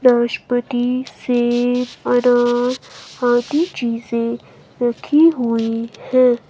वनस्पति से हरा हाती चीजे रखी हुई है।